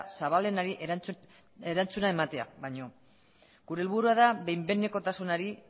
zabalenari ematea baino gure helburua da behin behinekotasunari